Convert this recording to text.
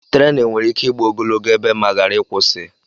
Tréénù nwèrè íké ị́gbá ogologo ébé ma ghari ịkwụsị